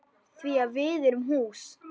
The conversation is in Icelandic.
Því að við erum hús.